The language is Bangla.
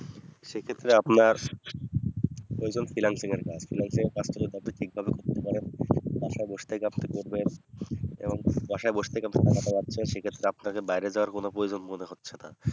সেক্ষেত্রে আপনার ওজন financial এর কাজ financial এর কাজ থেকে যদি আপনি ঠিক ভাবে করতে পারেন বাসায় বসে থেকে আপনি করবেন এবং বাসায় বসে থেকে টাকাটা পাচ্ছেন সে ক্ষেত্রে আপনাকে বাইরে যাওয়ার কোনো প্রয়োজন মনে হচ্ছে না